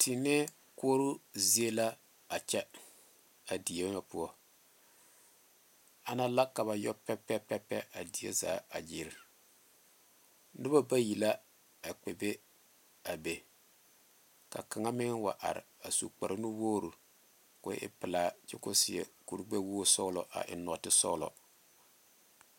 Tiinee koɔro zie la a nyɛ a diɛ ŋa poɔ ana la ka ba yɔ pɛpɛpɛpɛ a diɛ zaa a gyile noba bayi la a kpɛ be a be ka kaŋa meŋ wa are a su kpare nu wogre ko e pelaa kyɛ ko seɛ kuri gbɛ wogi sɔglɔ a eŋ nɔɔte sɔglɔ.